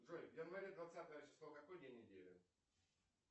джой в январе двадцатое число какой день недели